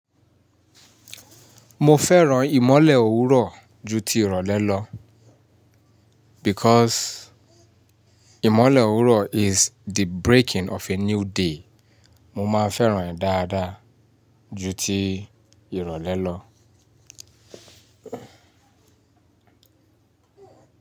Mo fẹ́ràn ìmọ́lẹ̀ òwúrọ̀ ju ti ìrọ̀lẹ́ lọ because ìmọ́lẹ̀ òwúrọ̀ is the breaking of a new day. Mo máa ń fẹ́ràn rẹ̀ dáadáa ju ti ìrọ̀lẹ́ lọ.